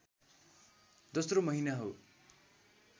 दोस्रो महिना हो